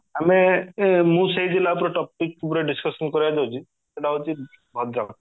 ଆମେ ମୁ ସେଇ ଜିଲ୍ଲା ଉପରେ topic ଉପରେ discussion କରିବାକୁ ଯାଉଚି ସେଟ ହୋଉଚି ଭଦ୍ରକ